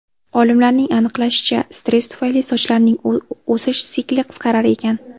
Olimlarning aniqlashicha, stress tufayli sochlarning o‘sish sikli qisqarar ekan.